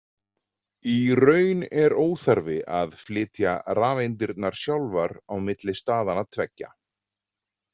Í raun er óþarfi að flytja rafeindirnar sjálfar á milli staðanna tveggja.